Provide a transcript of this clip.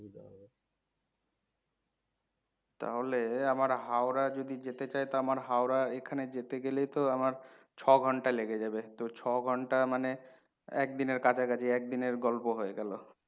তাহলে আমার হাওড়া যদি যেতে চাই তো আমার হাওড়া এখানে যেতে গেলে তো আমার ছ ঘণ্টা লেগে যাবে। তো ছ ঘণ্টা মানে একদিনের কাছাকাছি, একদিনের গল্প হয়ে গেল।